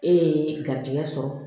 E ye garijɛgɛ sɔrɔ